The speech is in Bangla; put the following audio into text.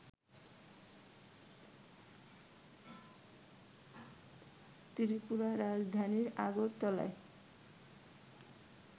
ত্রিপুরার রাজধানী আগরতলায়